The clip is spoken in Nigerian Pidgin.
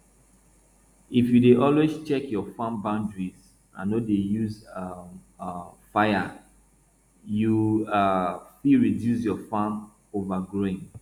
if you dey always check your farm boundaries and no dey use um um fire you um fit reduce your farm overgrowing